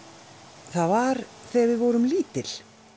það var þegar við vorum lítil